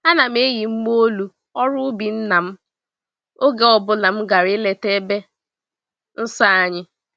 Ana m eyi mgba-olu ọrụ-ubi nna m oge ọ bụla m gàrà ileta ebe nsọ ahụ.